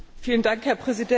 Herr Präsident!